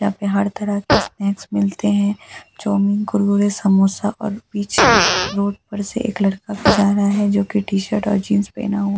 यहाँ पर हर तरह के स्नैक्स मिलते है चाऊमीन कुरकुरा समोसे और और बीच रोड़ पर से एक लड़का भी जा रहा है जो की टी_शर्ट और जीन्स पेहना हु --